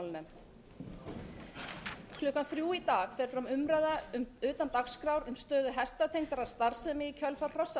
klukkan þrjú í dag fer fram umræða utan dagskrár um stöðu hestatengdrar starfsemi í kjölfar